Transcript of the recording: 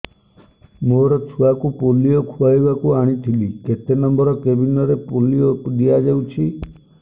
ମୋର ଛୁଆକୁ ପୋଲିଓ ଖୁଆଇବାକୁ ଆଣିଥିଲି କେତେ ନମ୍ବର କେବିନ ରେ ପୋଲିଓ ଦିଆଯାଉଛି